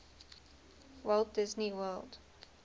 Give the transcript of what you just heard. walt disney world